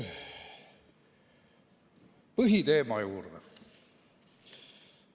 Põhiteema juurde.